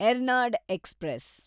Ernad express